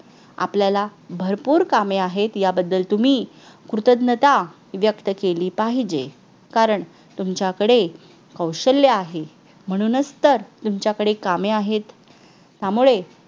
आपल्याला भरपूर कामे आहेत याबद्दल तुम्ही कृतज्ञता व्यक्त केली पाहिजे कारण तुमच्याकडे कौशल्य आहे म्हणूनच तर तुमच्याकडे कामे आहेत त्यामुळे